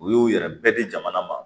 U y'u yɛrɛ bɛɛ di jamana ma